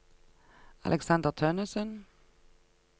Aleksander Tønnessen